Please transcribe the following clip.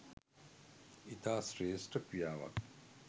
ඉතා ශ්‍රේෂ්ඨ ක්‍රියාවක්.